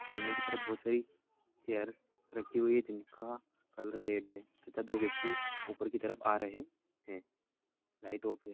आगे की तरफ बहुत सारी चेयर रखी हुई है जिनका कलर रेड है तथा दो व्यक्ति ऊपर की तरफ आ रहे है लाइट ऑफ है।